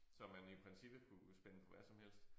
Som man i princippet kunne spænde på hvad som helst